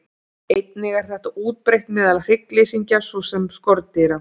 Einnig er þetta útbreitt meðal hryggleysingja svo sem skordýra.